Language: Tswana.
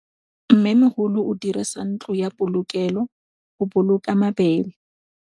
Mmêmogolô o dirisa ntlo ya polokêlô, go boloka mabele.